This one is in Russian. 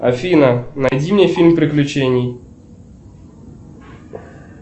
афина найди мне фильм приключений